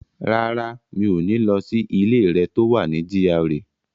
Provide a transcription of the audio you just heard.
Rárá, mi ò ní lọ sí ilé rẹ̀ tó wà ní GRA.